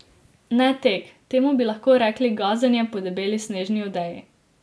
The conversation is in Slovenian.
Ne tek, temu bi lahko rekli gazenje po debeli snežni odeji.